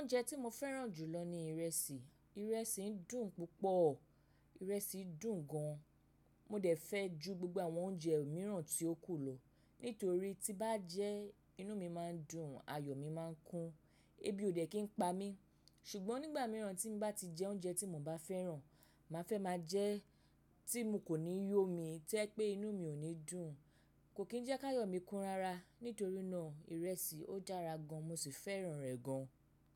Oúnjẹ tí mo fẹ́ràn jù lọ ni ìrẹsì. Ìrẹsì dùn púpọ̀, ìrẹsì dùn gan. Mo dẹ̀ fẹ́ ju gbogbo àwọn oúnjẹ mìíràn tí ó kù lọ, nítorí tí bá jẹ inú mi máa ń dùn, ayọ̀ mi máa ń kún, ebi ò dẹ̀ kí n pa mí. Ṣùgbọ́n nígbà mìíràn tí n bá ti jẹ oúnjẹ tí mo bá fẹ́ràn, màá fẹ́ máa jẹ́ tí mo kò ní yómi, tẹ́ pé inú mi ò ní dùn, kò kín jẹ́ ká ayọ̀ mí kún rara. Nítorí náà ìrẹsì ó dára gan mo sì fẹ́ràn rẹ̀ gan.